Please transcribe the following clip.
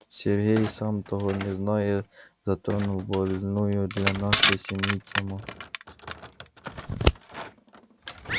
сергей сам того не зная затронул больную для нашей семьи тему